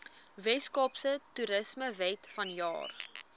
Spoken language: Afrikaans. weskaapse toerismewet vanjaar